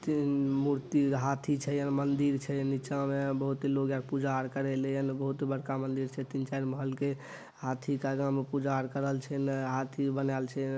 तीन मूर्ति हाथी छै मंदिल छै नीचा मे बोहोत लोग पूजा आर करे ले बोहोत बड़का मंदिर छै। तीन-चार महल के हाथी के आगा में पूजा करल छै हाथी बनल छै।